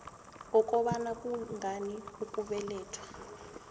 wokobana kungani ukubelethwa